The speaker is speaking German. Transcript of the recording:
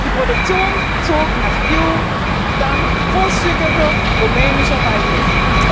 Die Produktion zog nach Cluj dank großzügiger rumänischer Beihilfen.